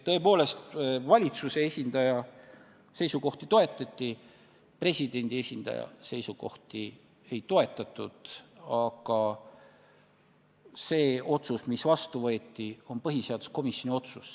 Tõepoolest, valitsuse esindaja seisukohti toetati, presidendi esindaja seisukohti ei toetatud, aga otsus, mis vastu võeti, on põhiseaduskomisjoni otsus.